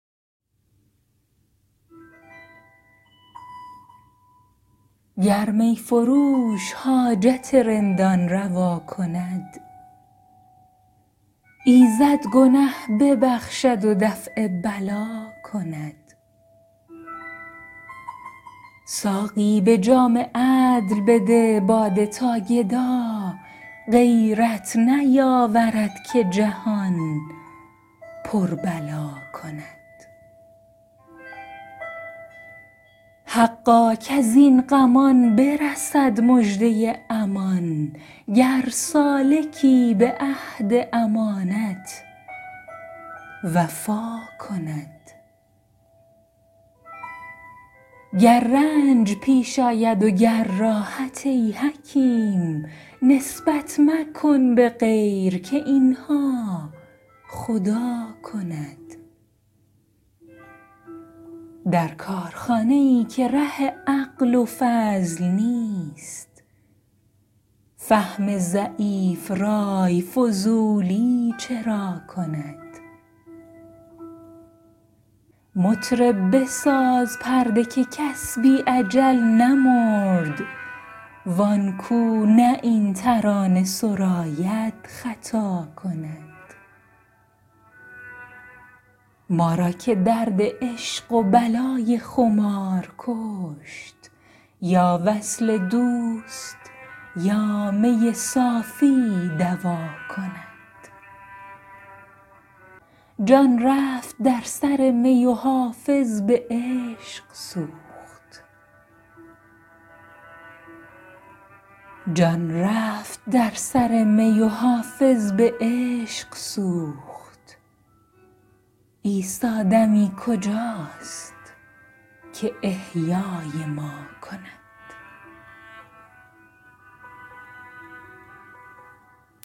گر می فروش حاجت رندان روا کند ایزد گنه ببخشد و دفع بلا کند ساقی به جام عدل بده باده تا گدا غیرت نیاورد که جهان پر بلا کند حقا کز این غمان برسد مژده امان گر سالکی به عهد امانت وفا کند گر رنج پیش آید و گر راحت ای حکیم نسبت مکن به غیر که این ها خدا کند در کارخانه ای که ره عقل و فضل نیست فهم ضعیف رای فضولی چرا کند مطرب بساز پرده که کس بی اجل نمرد وان کو نه این ترانه سراید خطا کند ما را که درد عشق و بلای خمار کشت یا وصل دوست یا می صافی دوا کند جان رفت در سر می و حافظ به عشق سوخت عیسی دمی کجاست که احیای ما کند